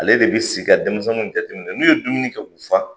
Ale de bi sigi ka denmisɛnninw jateminɛ, n'u ye dumuni kɛ k'u fa